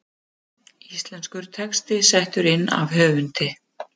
Íslenskur texti settur inn af höfundi.